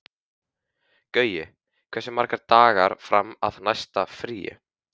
Gaui, hversu margir dagar fram að næsta fríi?